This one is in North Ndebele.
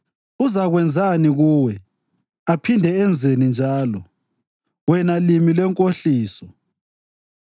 Uzakwenzani kuwe, aphinde enzeni njalo, wena limi lwenkohliso?